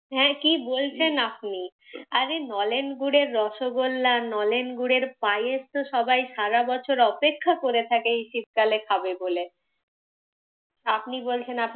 হ্যাঁ কি বলছেন আপনি! আরে নলেন গুঁড়ের রসগোল্লা নলেন গুঁড়ের পায়েস তো সবাই সারা বছর অপেক্ষা করে থাকে এই শীতকালে খাবে বলে। আপনি বলছেন